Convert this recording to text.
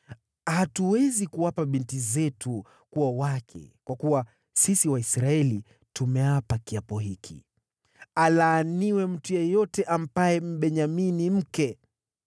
Hatuwezi kuwapa binti zetu kuwa wake, kwa kuwa sisi Waisraeli tumeapa kiapo hiki: ‘Alaaniwe mtu yeyote ampaye Mbenyamini mke.’ ”